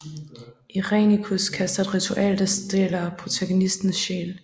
Irenicus kaster et ritual der stjæler protagonistens sjæl